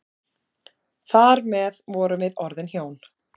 Þar með vorum við orðin hjón.